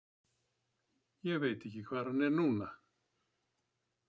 Ég veit ekki hvar hann er núna.